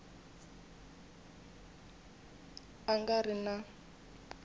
a nga ri na n